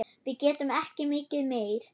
Við getum ekki mikið meir.